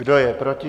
Kdo je proti?